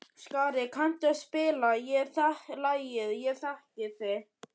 Skari, kanntu að spila lagið „Ég þekki þig“?